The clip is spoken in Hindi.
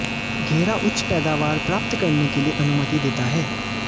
घेरा उच्च पैदावार प्राप्त करने के लिए अनुमति देता है